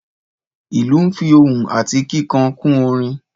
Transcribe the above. Ìlú nfi ohùn ati kíkan kun orin